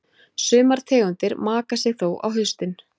Sumar tegundir maka sig þó á haustin.